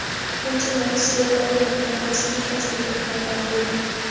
Putin Rossiya dollardan voz kechmasligini va’da qildi.